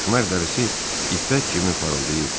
Məxməri dərisi ipək kimi parıldayırdı.